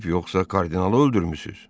Kral ölüb, yoxsa kardinalı öldürmüsünüz?